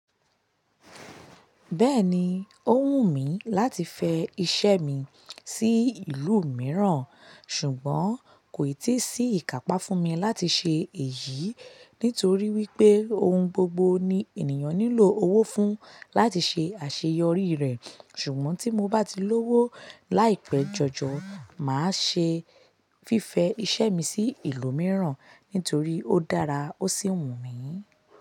Bẹ́ẹ̀ni, o wù mí láti fẹ iṣẹ́ mi sí ìlú mìíràn ṣùgbọ́n kò ì tí sí ìkàpá fún mi láti ṣe èyí nítorí wípé ohun gbogbo ni ènìyàn nílò owó fún láti ṣe àṣeyọrí rẹ̀. Ṣùgbọ́n tí mo bá ti lówó láìpẹ́ jọjọ máa ṣe fífẹ iṣẹ́ mi sí ìlú mìíràn nítorí ó dára ó sì wù mí.